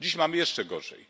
Dziś mamy jeszcze gorzej.